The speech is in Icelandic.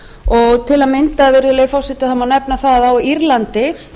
og til að mynda virðulegi forseti má nefna það að á írlandi